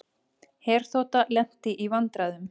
Herþota lenti í vandræðum